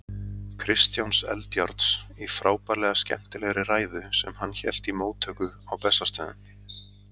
Kristjáns Eldjárns, í frábærlega skemmtilegri ræðu, sem hann hélt í móttöku á Bessastöðum.